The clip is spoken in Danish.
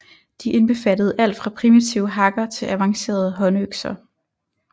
De indbefattede alt fra primitive hakker til avancerede håndøkser